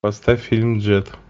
поставь фильм джет